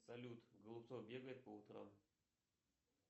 салют голубцов бегает по утрам